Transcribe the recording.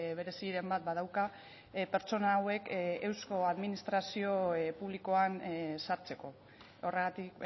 bereziren bat badauka pertsona hauek eusko administrazio publikoan sartzeko horregatik